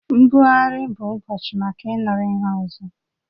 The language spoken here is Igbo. Mbuagharị bụ ụbọchị maka ịnụrụ ihe ọzọ